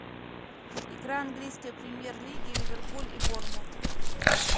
игра английской премьер лиги ливерпуль и борнмут